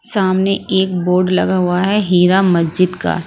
सामने एक बोर्ड लगा हुआ है हीरा मस्जिद का।